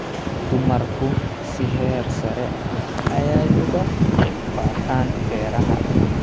Dumarku si heersare ah ayay uga qayb qaataan beeraha.